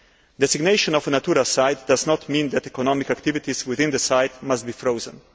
Designation of a Natura site does not mean that economic activities within the site must be frozen.